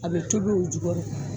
A be tobi o jukɔrɔ.